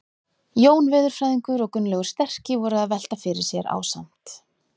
Jón veðurfræðingur og Gunnlaugur sterki voru að velta fyrir sér ásamt